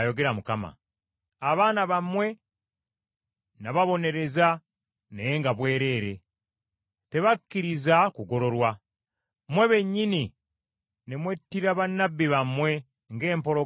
Abaana bammwe nababonereza naye nga bwerere, tebakkiriza kugololwa. Mmwe bennyini ne mwettira bannabbi bammwe ng’empologoma bw’etta.